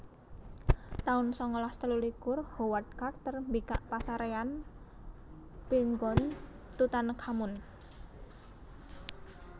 taun sangalas telulikur Howard Carter mbikak pasaréyan Pirngon Tutankhamun